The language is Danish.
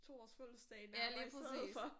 2 års fødelsedag nærmere i stedet for